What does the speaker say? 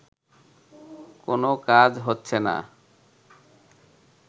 কোনো কাজ হচ্ছে না